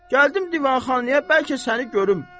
Gəldim divanxanaya bəlkə səni görüm.